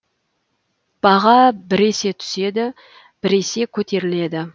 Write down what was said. баға біресе түседі біресе көтеріледі